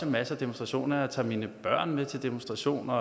masser af demonstrationer og jeg tager mine børn med til demonstrationer